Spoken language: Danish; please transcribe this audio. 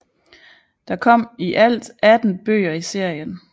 Der kom i alt 18 bøger i serien